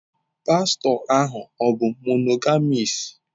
Pastọ ahụ ọ̀ bụ monogamis?